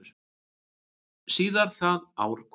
Síðar það ár kom